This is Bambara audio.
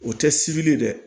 O tɛ sibiri ye dɛ